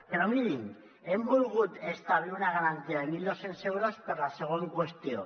però mirin hem volgut establir una garantia de mil dos cents euros per a la següent qüestió